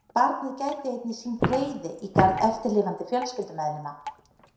Barnið gæti einnig sýnt reiði í garð eftirlifandi fjölskyldumeðlima.